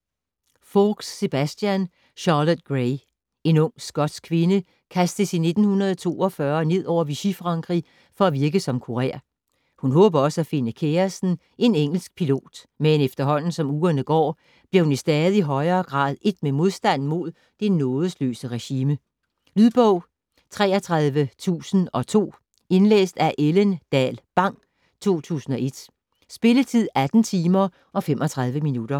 Faulks, Sebastian: Charlotte Gray En ung skotsk kvinde kastes i 1942 ned over Vichy-Frankrig for at virke som kurér. Hun håber også at finde kæresten, en engelsk pilot, men efterhånden som ugerne går, bliver hun i stadig højere grad ét med modstanden mod det nådesløse regime. Lydbog 33002 Indlæst af Ellen Dahl Bang, 2001. Spilletid: 18 timer, 35 minutter.